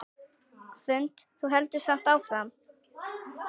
Hrund: Þú heldur samt áfram?